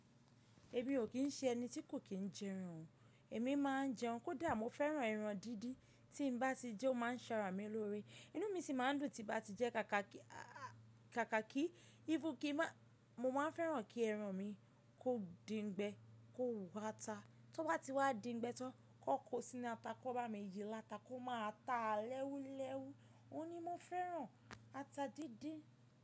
Èmi ò kí ń ṣe ẹni tí kò kí ń jẹran. Èmi máa ń jẹun kódà mo fẹ́ràn ẹran díndín tí'n bá ti jẹ o ma ń ṣara mi lóore Inú mi sì máa ń dùn tí bá ti jẹ́ káàka ki Mo máa ń fẹ́ràn kí ẹran mi kó din gbẹ, kó wo ata. Tó bá ti wá din gbẹ tán kan kó sí inú ata, kan bá mi yí ni ata kó máa ta lẹ́wú lẹ́wú. Óun ní mo fẹ́ràn ata díndín.